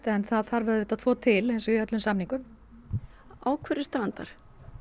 en það þarf auðvitað tvo til eins og í öllum samningum á hverju strandar